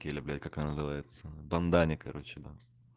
я люблю как она называется в бандане короче на